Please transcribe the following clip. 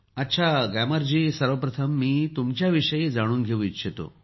अच्छा ग्यामर जी सर्वप्रथम मी तुमच्याविषयी जाणून घेऊ इच्छितो